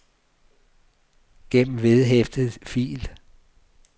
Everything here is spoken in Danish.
gem vedhæftet fil